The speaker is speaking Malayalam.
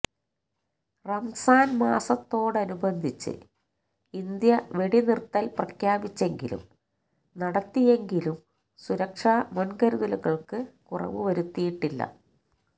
റംസാന് മാസത്തോടനുബന്ധിച്ച് ഇന്ത്യ വെടിനിര്ത്തല് പ്രഖ്യാപിച്ചെങ്കിലും നടത്തിയെങ്കിലും സുരക്ഷാ മുന്കരുതലുകള്ക്ക് കുറവ് വരുത്തിയിട്ടില്ല